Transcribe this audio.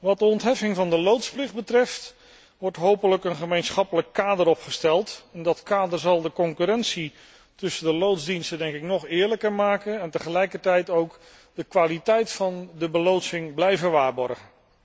Wat de ontheffing van de loodsplicht betreft, wordt hopelijk een gemeenschappelijk kader opgesteld en dat kader zal de concurrentie tussen de loodsdiensten nog eerlijker maken en tegelijkertijd ook de kwaliteit van de beloodsing blijven waarborgen.